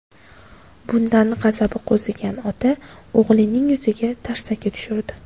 Bundan g‘azabi qo‘zigan ota o‘g‘lining yuziga tarsaki tushirdi.